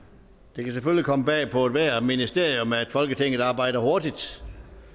det kan selvfølgelig komme bag på ethvert ministerium at folketinget arbejder hurtigt